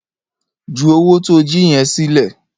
Ju owó tó o jí yẹn sílẹ̀!